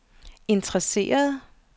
interesseret